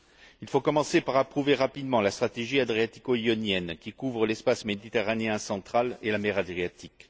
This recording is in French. Il faut commencer par approuver rapidement la stratégie adriatico ionienne, qui couvre l'espace méditerranéen central et la mer Adriatique.